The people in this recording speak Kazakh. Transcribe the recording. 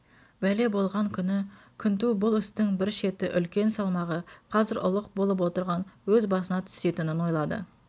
бәле болған күні күнту бұл істің бір шеті үлкен салмағы қазір ұлық болып отырған өз басына түсетінін ойлады